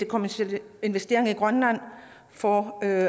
kommercielle investeringer i grønland for at